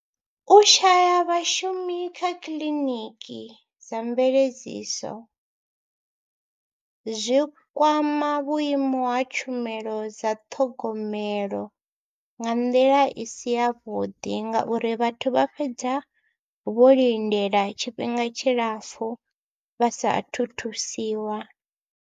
U shaya vhashumi kha kiḽiniki dza mveledziso zwi kwama vhuimo ha tshumelo dza ṱhogomelo nga nḓila i si yavhuḓi ngauri vhathu vha fhedza vho lindela tshifhinga tshilapfhu vha saathu thusiwa.